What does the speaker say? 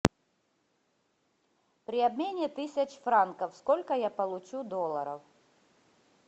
при обмене тысяч франков сколько я получу долларов